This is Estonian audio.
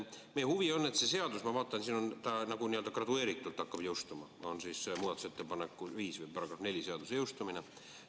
Ma vaatan, et siin on nii, et seadus hakkab jõustuma gradatsiooniliselt, siin on muudatusettepanek nr 5 ja § on 4 "Seaduse jõustumine".